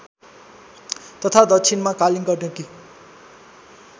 तथा दक्षिणमा कालीगण्डकी